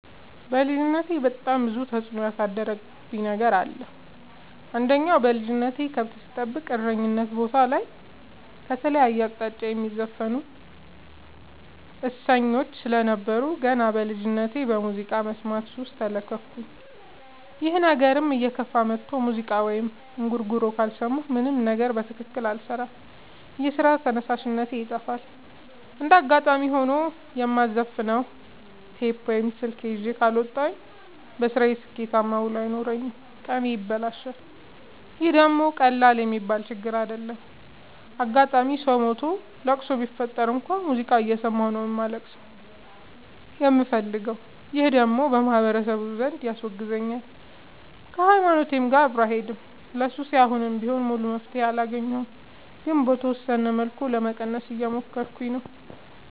በልጅነቴ በጣም ብዙ ተጽዕኖ ያሳደረብኝ ነገር አለ። አንደኛ በልጅነቴ ከብት ስጠብቅ እረኝነት ቦታ ከተለያየ አቅጣጫ የሚዘፍኑ እሰኞች ስለነበሩ። ገና በልጅነቴ በሙዚቃ መስማት ሱስ ተለከፍኩኝ ይህ ነገርም እየከፋ መጥቶ ሙዚቃ ወይም እንጉርጉሮ ካልሰማሁ ምንም ነገር በትክክል አልሰራም የስራ ተነሳሽነቴ ይጠፋል። እንደጋጣሚ ሆኖ የማዘፍ ነው ቴፕ ወይም ስልክ ይዤ ካልወጣሁ። በስራዬ ስኬታማ ውሎ አይኖረኝም ቀኔ ይበላሻል ይህ ደግሞ ቀላል የሚባል ችግር አይደለም። አጋጣም ሰው ሞቶ ለቅሶ ቢፈጠር እንኳን ሙዚቃ እየሰማሁ ነው ማልቀስ የምፈልገው ይህ ደግሞ በማህበረሰቡ ዘንድ ያስወግዛል። ከሀይማኖቴም ጋር አብሮ አይሄድም። ለሱሴ አሁንም ቢሆን ሙሉ መፍትሔ አላገኘሁም ግን በተወሰነ መልኩ ለመቀነስ እየሞከርኩ ነው።